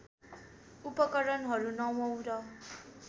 उपकरणहरू नवौँ र